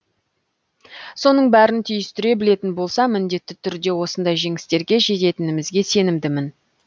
соның бәрін түйістіре білетін болса міндетті түрде осындай жеңістерге жететінімізге сенімдімін